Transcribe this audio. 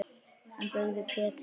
Hann byggði Pétri